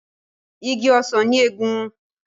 Ìgi ọsán ní egún.